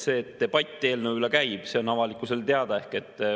See, et debatt eelnõu üle käib, on avalikkusele teada.